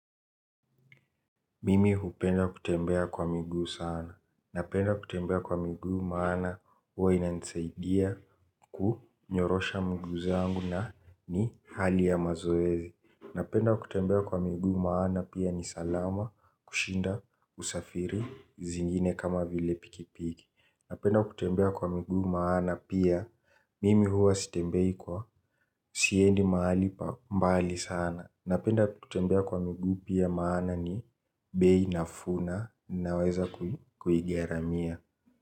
Mimi hupenda kutembea kwa miguu sana. Napenda kutembea kwa miguu maana huwa inansaidia kunyorosha miguu zangu na ni hali ya mazoezi. Napenda kutembea kwa miguu maana pia ni salama kushinda usafiri zingine kama vile pikipiki. Napenda kutembea kwa miguu maana pia mimi hua sitembei siendi mahali pa mbali sana. Napenda kutembea kwa miguu pia maana ni bei nafuu na naweza kugaramia.